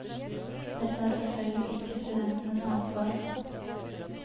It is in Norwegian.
Dette er selvfølgelig ikke studentenes ansvar.